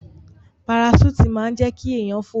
Paraṣúùtì máa ń jẹ́ kí èèyàn fò